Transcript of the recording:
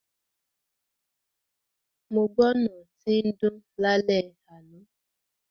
Mo gbọ́ náà tín dún lálẹ́ àná.